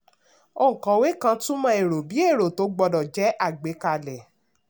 òǹkọ̀wé kan túmọ̀ èrò bí èrò tó gbọ́dọ̀ jẹ́ àgbékalẹ̀.